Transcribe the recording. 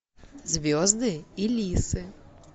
звезды и лисы